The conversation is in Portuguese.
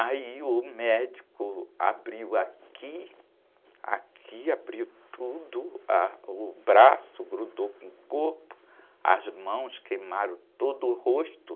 Aí o médico abriu aqui, aqui, abriu tudo, ah, o braço, grudou com o corpo, as mãos queimaram tudo, o rosto.